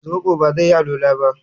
zobo ba zai yi alwala ba